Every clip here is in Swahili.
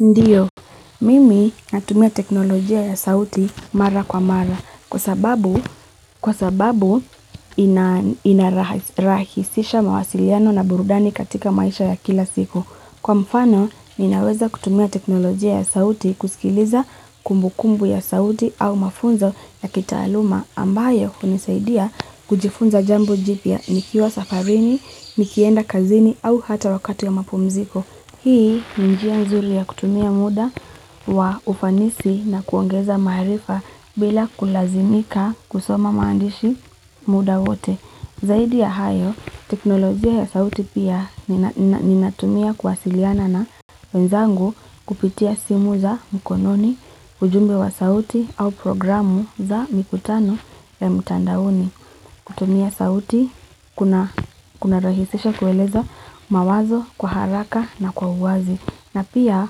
Ndiyo, mimi natumia teknolojia ya sauti mara kwa mara kwa sababu inarahisisha mawasiliano na burudani katika maisha ya kila siku. Kwa mfano, ninaweza kutumia teknolojia ya sauti kusikiliza kumbu kumbu ya sauti au mafunzo ya kitaaluma ambayo hunisaidia kujifunza jambo jipya nikiwa safarini, nikienda kazini au hata wakati ya mapumziko. Hii ni njia nzuri ya kutumia muda wa ufanisi na kuongeza maarifa bila kulazimika kusoma maandishi muda wote. Zaidi ya hayo, teknolojia ya sauti pia ninatumia kuwasiliana na wenzangu kupitia simu za mkononi, ujumbe wa sauti au programu za mikutano ya mtandaoni. Kutumia sauti, kuna rahisisha kueleza mawazo kwa haraka na kwa uwazi. Na pia,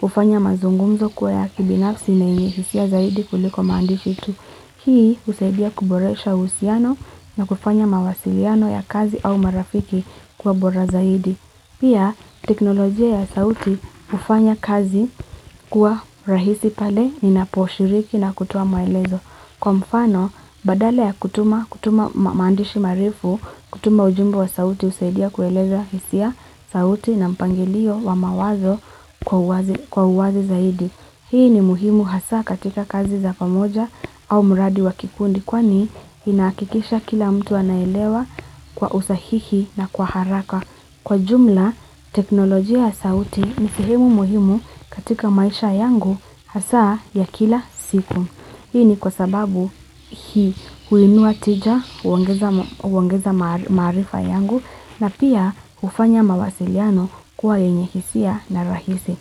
hufanya mazungumzo kuwa ya kibinafsi na yenye hisia zaidi kuliko maandishi tu. Hii, husaidia kuboresha uhusiano na kufanya mawasiliano ya kazi au marafiki kuwa bora zaidi. Pia, teknolojia ya sauti hufanya kazi kwa rahisi pale ninaposhiriki na kutoa maelezo. Kwa mfano, badala ya kutuma maandishi marefu, kutuma ujumbe wa sauti husaidia kueleza hisia sauti na mpangilio wa mawazo kwa uwazi zaidi. Hii ni muhimu hasaa katika kazi za pamoja au muradi wa kikundi kwani inahakikisha kila mtu anaelewa kwa usahihi na kwa haraka. Kwa jumla, teknolojia ya sauti ni sehemu muhimu katika maisha yangu hasaa ya kila siku. Hii ni kwa sababu hii huinua tija, huongeza maarifa yangu na pia hufanya mawasiliano kuwa yenye hisia na rahisi.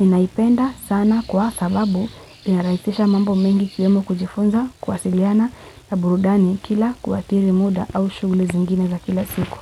Ninaipenda sana kwa sababu linarahisisha mambo mengi sehemu kujifunza kuwasiliana na burudani kila kuathiri muda au shughuli zingine za kila siku.